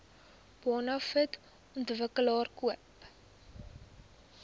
bonafide ontwikkelaar koop